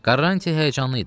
Karranti həyəcanlı idi.